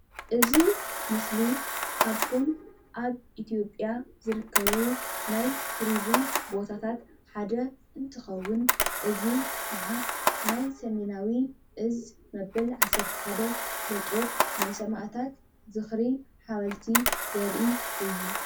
እዚ ምስሊ ካብቶም ኣብ ኢትዮጵያ ዝርከቡ ናይ ቱሪዝም ቦታታት ሓደ እንትከውን እዚ ከዓ ናይ ሰሜናዊ እዝ መበል ዓሰርተ ሓደ ክፍለጦር ናይ ሰማእታት ዝክሪ ሓወልቲ ዘርኢ እዩ።